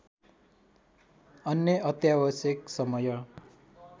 अन्य अत्यावश्यक समय